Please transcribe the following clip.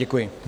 Děkuji.